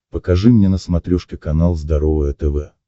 покажи мне на смотрешке канал здоровое тв